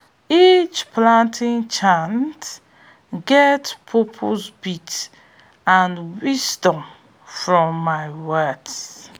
each planting chant get purpose beat and wisdom for im words